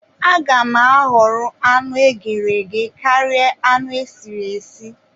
Aga m ahọrọ anụ eghere eghe karia anụ esiri esi